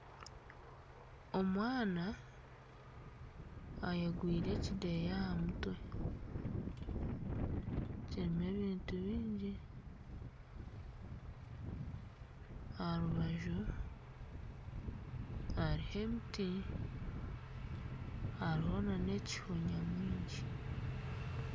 Omwana ayegwire ekideeya aha mutwe kirimu ebintu byingi aha rubaju haribo emiti hariho nana ekiho kiingi.